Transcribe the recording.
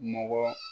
Mɔgɔ